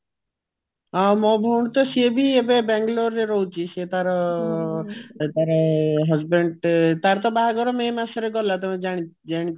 ଅ ମୋ ଭଉଣୀ ତ ସେଇବି ଏବେ ବାଙ୍ଗାଲୋର ରେ ରହୁଛି ସିଏ ତାର ତାର husband ତାର ତ ବାହାଘର may ମାସରେ ଗଲା ତମେ ଜାଣି ଜାଣିଥିବ